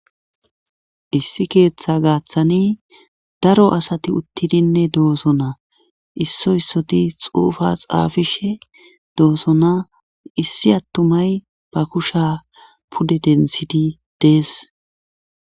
issi keeththa gaaththani daro asati uttidinne dooso na issoy issoti xuufa xaafishe dooso na issi attumay ba kusha pude densidi dees